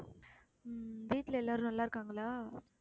உம் வீட்டுல எல்லாரும் நல்லா இருக்காங்களா